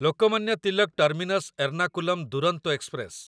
Lokmanya Tilak terminus Ernakulam Duronto express